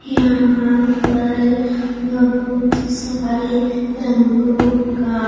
यहां पर बहुत सारे रंगों का --